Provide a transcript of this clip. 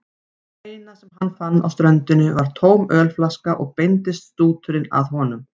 Það eina sem hann fann á ströndinni var tóm ölflaska og beindist stúturinn að honum.